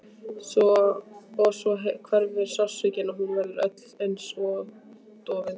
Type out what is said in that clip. Og svo hverfur sársaukinn og hún verður öll einsog dofin.